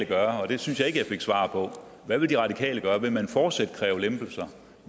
gøre og det synes jeg ikke jeg fik svar på hvad vil de radikale gøre vil man fortsat kræve lempelser